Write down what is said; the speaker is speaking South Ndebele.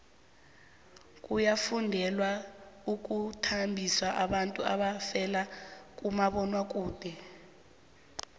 kuyafundelwa ukwembathisa abantu abavela kumabonwakude